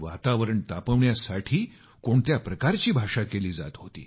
वातावरण तापवण्यासाठी कोणत्या प्रकारची भाषा केली जात होती